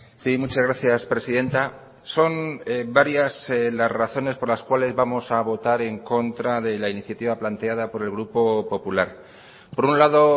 sí muchas gracias presidenta son varias las razones por las cuales vamos a votar en contra de la iniciativa planteada por el grupo popular por un lado